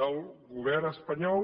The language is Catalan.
del govern espanyol